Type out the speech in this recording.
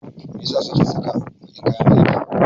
Me ya sa suke saka baƙin kayan aiki?